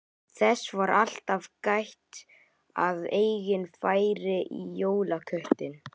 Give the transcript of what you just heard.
Þess var alltaf gætt að enginn færi í jólaköttinn.